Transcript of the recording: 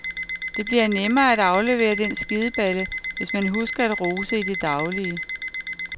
Det bliver nemmere at aflevere den skideballe, hvis man husker at rose i det daglige.